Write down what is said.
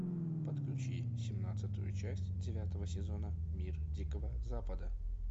подключи семнадцатую часть девятого сезона мир дикого запада